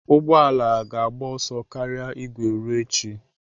Ụgbọ ala ga-agba ọsọ karịa igwe ruo echi.